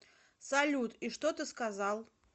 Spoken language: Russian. салют и что ты сказал